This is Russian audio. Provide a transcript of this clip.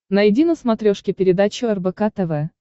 найди на смотрешке передачу рбк тв